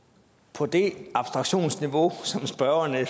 på det abstraktionsniveau som spørgeren er